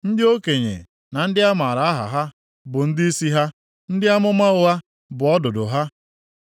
Ndị okenye na ndị a maara aha ha bụ ndịisi ha, ndị amụma ụgha bụ ọdụdụ ha.